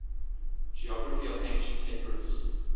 geography of ancient epirus